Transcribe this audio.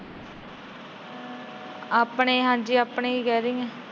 ਆਪਣੇ ਹਾਂਜੀ ਆਪਣੇ ਹੀ ਕਹਿ ਰਹੀ ਆ।